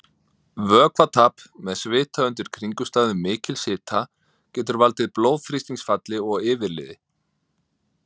Vökvatap með svita undir kringumstæðum mikils hita getur valdið blóðþrýstingsfalli og yfirliði.